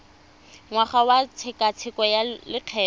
ngwaga wa tshekatsheko ya lokgetho